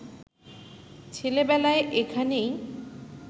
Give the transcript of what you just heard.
ছেলেবেলায় এখানেই